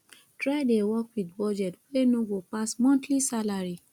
try dey work wit budget wey no go pass monthly salary